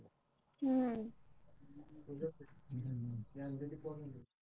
हम्म